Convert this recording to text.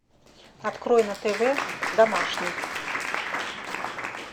открой на тв домашний